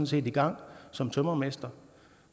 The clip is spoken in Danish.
set i gang som tømrermester